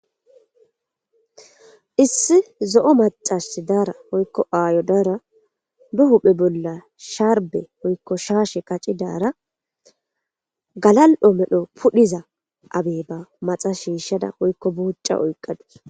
issi zo'o macashi daara woykko aayo daara be huphe bolla shaarbe woykko shaashe qacci daara galal'o medho pudhiza abeeba maxa shiishshada woykko buucca oyqqadus